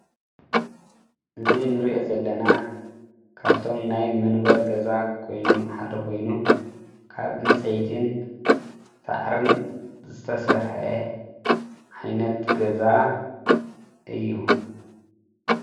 እዚ ንሪኦ ዘለና ካፍቶም ናይ መንበሪ ገዛ ኮይኑ ሓደ ኮይኑ ካብ ዕንፀይትን ሳዕርን ዝተሰርሐ ዓይነት ገዛ እዩ።